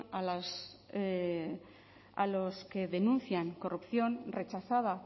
a los que denuncian corrupción rechazada